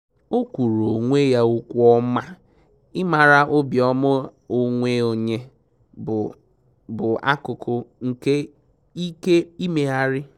O kwuuru onwe ya okwu ọma, ịmara obiọma onwe onye bụ bụ akụkụ nke ike imegharị